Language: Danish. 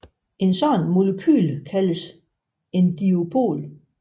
Et sådant molekyle kaldes en dipol